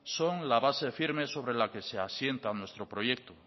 son la base firme sobre la que se asientan nuestro proyecto